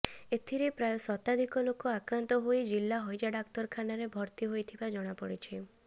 ଏଥିରେ ପ୍ରାୟ ଶତାଧିକ ଲୋକ ଆକ୍ରାନ୍ତ ହୋଇ ଜିଲ୍ଳା ହଇଜା ଡାକ୍ତରଖାନରେ ଭର୍ତ୍ତି ହୋଇଥିବା ଜଣାପଡ଼ିଛି